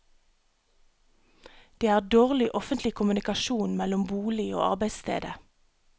Det er dårlig offentlig kommunikasjon mellom bolig og arbeidsstedet.